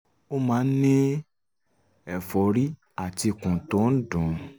ó máa ń ní ẹ̀fọ́rí àti ikùn tó ń dùn ún